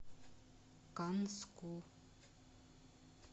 канску